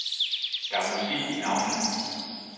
Der er musik i navnene.